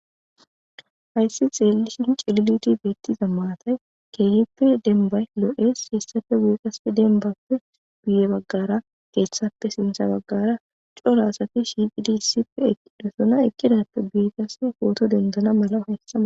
Hayssi xeelishin cililiti beettiza maatay keeyippe dembay lo'es .Ha issappe guyeqaspe dembappe guye baggara keeththappe sintha baggara cora asati shiqidi issippe ekkidosona. Ekkidappe guye qassenne pooto denidana mala hayissama.